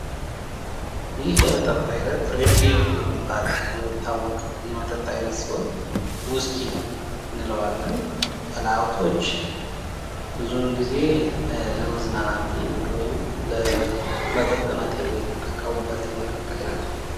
ይህ የመጠጥ አይነት ሬድ ሌብል የሚታወቅ የመጠጥ አይነት ሲሆን ውስኪ እንለዋለን ባለሀብቶች ብዙውን ጊዜ ለመዝናናት ወይም ለመጠጥነት የሚጠቀሙበት የመጠጥ አይነት ነው።